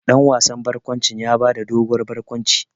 Dan wasan barkwanci ya ba da doguwar barkwanci.